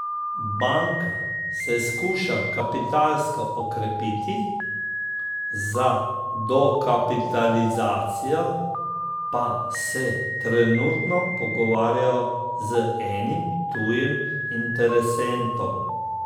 Banka se skuša kapitalsko okrepiti, za dokapitalizacijo pa se trenutno pogovarjajo z enim tujim interesentom.